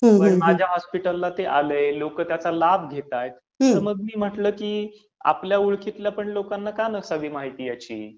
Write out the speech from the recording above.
पण माझ्या हॉस्पिटलला ते आलंय, लोक त्याचा लाभ घेत आहेत, तर मग मी म्हटलं की आपल्या माहितीतल्या लोकांना पण का नसावी त्याची माहिती?